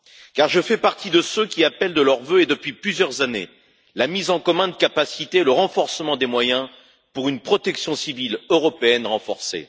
car je fais partie de ceux qui appellent de leurs vœux, et depuis plusieurs années, la mise en commun de capacités et le renforcement des moyens pour une protection civile européenne renforcée.